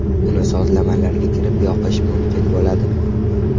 Uni sozlamalarga kirib yoqish mumkin bo‘ladi.